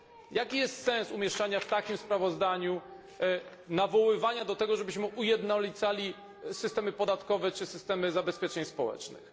Jaki jest sens umieszczania tego w takim sprawozdaniu, nawoływania do tego, żebyśmy ujednolicali systemy podatkowe czy systemy zabezpieczeń społecznych.